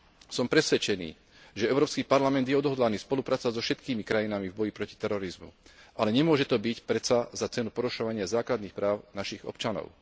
Som presvedčený, že Európsky parlament je odhodlaný spolupracovať so všetkými krajinami v boji proti terorizmu, ale nemôže to byť predsa za cenu porušovania základných práv našich občanov.